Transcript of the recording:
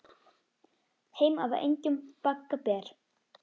Heim af engjum bagga ber.